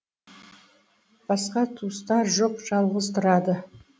басқа туыстары жоқ жалғыз тұрады